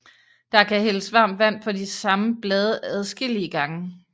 Der kan hældes varmt vand på de samme blade adskillige gange